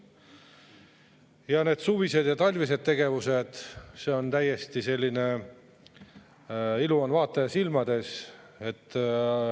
Ja need suvised ja talvised tegevused – see on täiesti selline ilu on vaataja silmades.